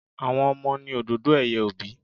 Àwọn Ọmọ ni òdòdó ẹ̀yẹ òbí.